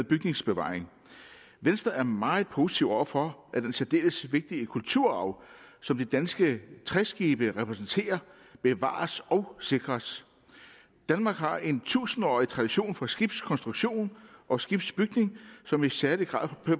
bygningsbevaring venstre er meget positiv over for at den særdeles vigtige kulturarv som de danske træskibe repræsenterer bevares og sikres danmark har en tusindårig tradition for skibskonstruktion og skibsbygning som i særlig grad